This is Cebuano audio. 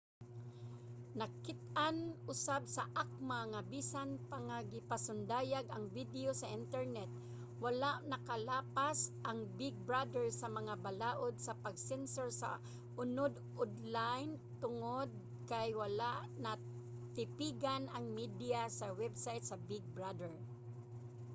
nakit-an usab sa acma nga bisan pa nga gipasundayag ang video sa internet wala nakalapas ang big brother sa mga balaod sa pag-sensor sa unod onlayn tungod kay wala natipigan ang mediya sa website sa big brother